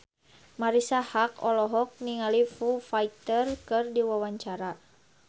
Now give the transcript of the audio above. Marisa Haque olohok ningali Foo Fighter keur diwawancara